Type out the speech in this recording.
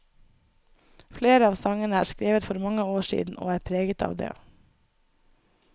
Flere av sangene er skrevet for mange år siden, og er preget av det.